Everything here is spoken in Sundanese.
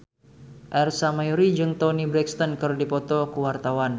Ersa Mayori jeung Toni Brexton keur dipoto ku wartawan